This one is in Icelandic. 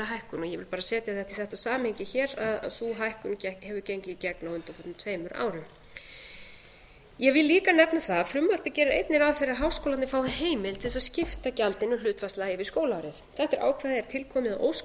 hækkun og ég vil bara setja þetta í þetta samhengi hér að sú hækkun hefur gengið í gegn á undanförnum tveimur árum ég vil líka nefna það að frumvarpið gerir einnig ráð fyrir að háskólarnir fái heimild til þess að skipta gjaldinu hlutfallslega yfir skólaárið þetta ákvæði er tilkomið að ósk